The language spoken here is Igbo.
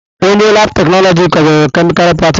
Onye laabụ̀ teknọlọjịst kwadoro kemịkalụ pratikal.